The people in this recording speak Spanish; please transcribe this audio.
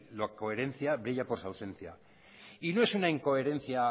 la coherencia brilla por su ausencia y no es una incoherencia